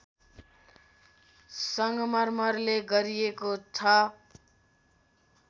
सङ्गमरमरले गरिएको छ